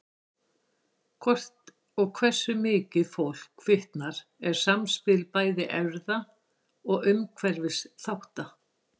Hvort og hversu mikið fólk fitnar er samspil bæði erfða og umhverfisþátta.